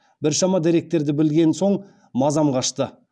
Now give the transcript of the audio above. біршама деректерді білген соң мазам қашты